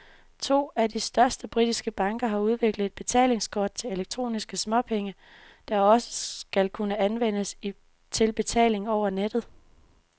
To af de største britiske banker har udviklet et betalingskort til elektroniske småpenge, der også skal kunne anvendes til betaling over nettet.